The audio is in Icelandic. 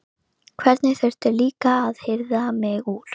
Einhver þurfti líka að hirða mig úr